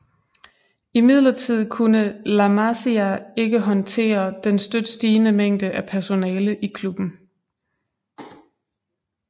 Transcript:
Imidlertid kunne La Masia ikke håndtere den støt stigende mængde af personale i klubben